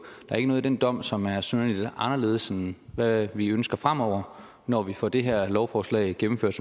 er ikke noget i den dom som er synderlig anderledes end hvad vi ønsker fremover når vi får det her lovforslag gennemført